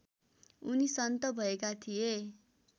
उनी सन्त भएका थिए